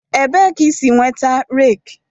Ebee ka i si nweta rake